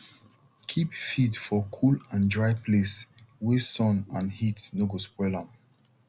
keep feed for cool and dry place wey sun and heat no go spoil am